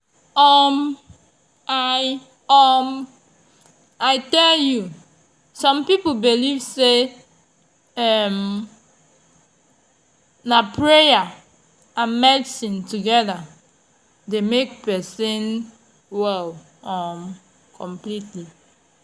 um i um i tell you! some people believe say um na prayer and medicine together dey make person well um completely